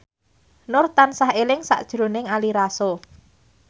Nur tansah eling sakjroning Ari Lasso